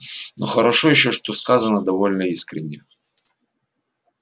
но хорошо ещё что сказано довольно искренне